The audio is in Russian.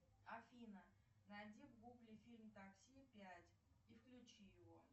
афина найди в гугле фильм такси пять и включи его